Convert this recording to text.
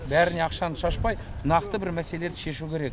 бәріне ақшаны шашпай нақты бір мәселелерді шешу керек